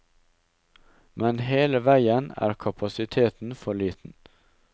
Men hele veien er kapasiteten for liten.